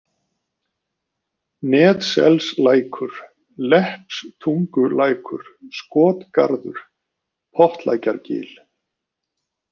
Netselslækur, Leppistungulækur, Skotgarður, Pottlækjargil